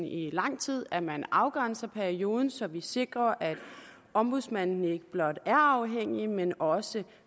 i lang tid at man afgrænser perioden så vi sikrer at ombudsmanden ikke blot er uafhængig men også